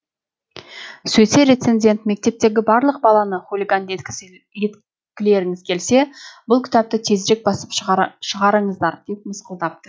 сөйтсе рецензент мектептегі барлық баланы хулиган еткілеріңіз келсе бұл кітапты тезірек басып шығарыңыздар деп мысқылдапты